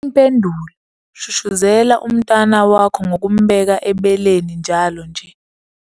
Impendulo- Shushuzela umntwana wakho ngokumbeka ebeleni njalo nje.